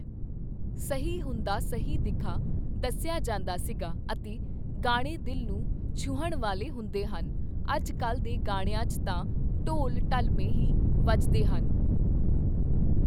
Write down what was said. ਸਹੀ ਹੁੰਦਾ ਸਹੀ ਦਿਖਾ, ਦੱਸਿਆ ਜਾਂਦਾ ਸੀਗਾ ਅਤੇ ਗਾਣੇ ਦਿਲ ਨੂੰ ਛੂਹਣ ਵਾਲੇ ਹੁੰਦੇ ਹਨ, ਅੱਜ ਕੱਲ੍ਹ ਦੇ ਗਾਣਿਆ 'ਚ ਤਾਂ ਢੋਲ ਢਲੱਮੇ ਹੀ ਵੱਜਦੇ ਹਨ